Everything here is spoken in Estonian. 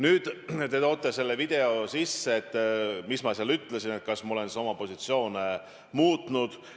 Nüüd, te toote selle video sisse – mis ma seal ütlesin, kas ma olen siis oma positsioone muutnud.